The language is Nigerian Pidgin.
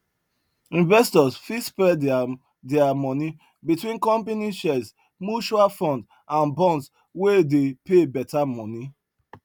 investors fit spread their their money between company shares mutual fund and bonds wey dey pay better money